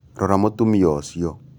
Rora mūtumia ūcio